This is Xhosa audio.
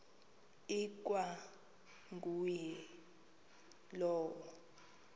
ikwa nguye lowo